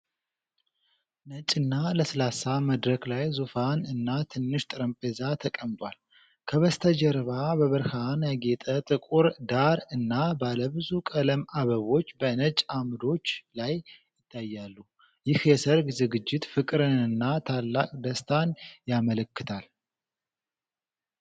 ነጭና ለስላሳ መድረክ ላይ ዙፋን እና ትንሽ ጠረጴዛ ተቀምጧል። ከበስተጀርባ በብርሃን ያጌጠ ጥቁር ዳራ እና ባለብዙ ቀለም አበቦች በነጭ አምዶች ላይ ይታያሉ። ይህ የሠርግ ዝግጅት ፍቅርንና ታላቅ ደስታን ያመለክታል።